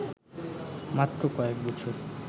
মাত্র কয়েক বছর